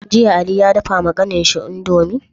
Jiya ali ya dafa wa kanin shi indomie?